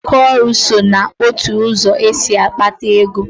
Aka ọrụ so n'otu ụzọ esi akpata ego